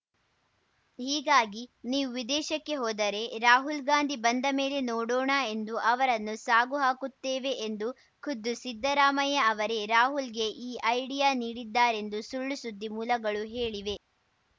ಹೀಗಾಗಿ ನೀವು ವಿದೇಶಕ್ಕೆ ಹೋದರೆ ರಾಹುಲ್‌ ಗಾಂಧಿ ಬಂದ ಮೇಲೆ ನೋಡೋಣ ಎಂದು ಅವರನ್ನು ಸಾಗಹಾಕುತ್ತೇವೆ ಎಂದು ಖುದ್ದು ಸಿದ್ದರಾಮಯ್ಯ ಅವರೇ ರಾಹುಲ್‌ಗೆ ಈ ಐಡಿಯಾ ನೀಡಿದ್ದಾರೆಂದು ಸುಳ್ಳುಸುದ್ದಿ ಮೂಲಗಳು ಹೇಳಿವೆ